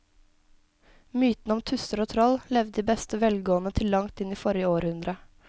Mytene om tusser og troll levde i beste velgående til langt inn i forrige århundre.